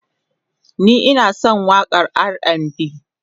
ni Ina San waƙan RAndB